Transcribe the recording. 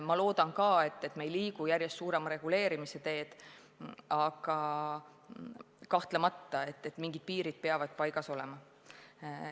Ma loodan, et me ei liigu järjest enama reguleerimise teed, aga kahtlemata mingid piirid peavad paigas olema.